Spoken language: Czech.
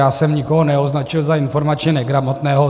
Já jsem nikoho neoznačil za informačně negramotného.